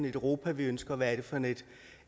et europa vi ønsker og hvad er det for